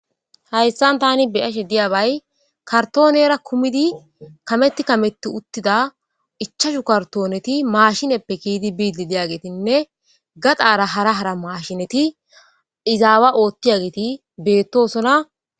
hayssan tani beyashe diyabay kartoonera kumidi kametti kametti uttida ichashu kartooneti maashineppe kiidi biidi diyagetinne gaxaara hara hara maashineti izaawa oottiya geeti beettosona